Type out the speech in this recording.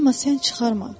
Amma sən çıxarma.